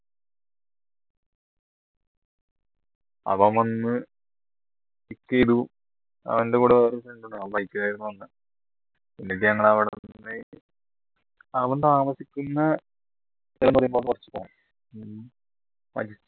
അവൻ വന്നു ചെയ്തു അവൻറെ കൂടെ വരുന്നോണ്ട് ഞങ്ങൾ അവിടന്ന് അവൻ താമസിക്കുന്ന